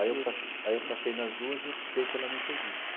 Aí eu pa aí eu passei nas duas e optei pela Metodista.